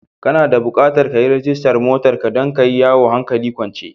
Kana da bukatar ka yi rajistar motar ka don ka yi yawo hankali kwance.